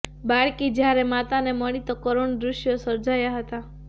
બાળકી જ્યારે માતાને મળી તો કરૂણ દુશ્યો સર્જાયા હતા